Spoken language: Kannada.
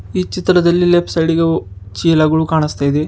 ಈ ಚಿತ್ರದಲ್ಲಿ ಲೆಫ್ಟ್ ಸೈಡ್ಗೆ ಚೀಲಗಳು ಕಾಣಿಸ್ತಯಿದೆ.